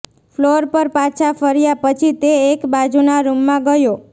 floor પર પાછા ફર્યા પછી તે એક બાજુના રૂમમાં ગયો